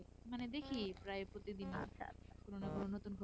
মানে দেখি প্রায় প্রতিদিনই কোন না কোন নতুন খবর